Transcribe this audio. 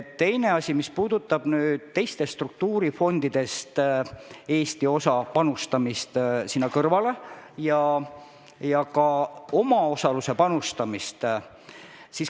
Teine asi puudutab teistest struktuurifondidest saadavat raha ja Eesti osa panustamist selle kõrvale, ka omaosaluse panustamist.